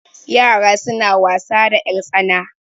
yara suna wasa da yartsana